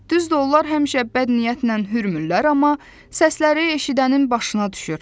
Düzdür, onlar həmişə bədniyyətlə hörmürlər, amma səsləri eşidənin başına düşür.